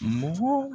Mɔgɔ